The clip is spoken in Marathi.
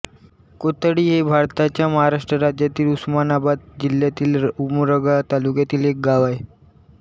कोथळी हे भारताच्या महाराष्ट्र राज्यातील उस्मानाबाद जिल्ह्यातील उमरगा तालुक्यातील एक गाव आहे